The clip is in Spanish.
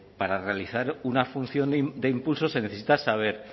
para realizar una función de impulso se necesita saber